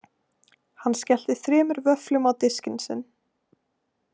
Hann skellti þremur vöfflum á diskinn sinn.